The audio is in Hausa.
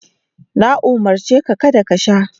Na umurce ka kada ka sha.